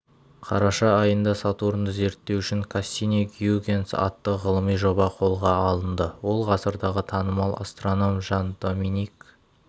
қараша айында сатурнды зерттеу үшін кассини-гюйгенс атты ғылыми жоба қолға алынды ол ғасырдағы танымал астроном жан-доминик